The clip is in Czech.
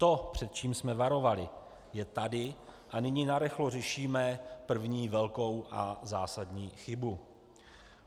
To, před čím jsme varovali, je tady a nyní narychlo řešíme první a velkou zásadní chybu.